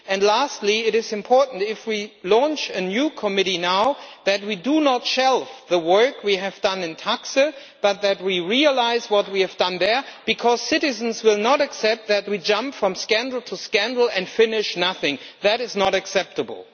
Lastly, it is important if we launch a new committee now that we do not shelve the work we have done in TAXE but that we realise what we have done there, because citizens will not accept that we jump from scandal to scandal and finish nothing that is not acceptable.